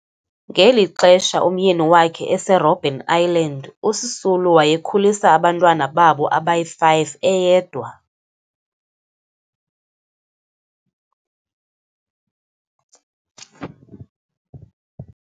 Ngeli xesha umyeni wakhe eseRobben Island, uSisulu wayekhulisa abantwana babo abayi-5 eyedwa.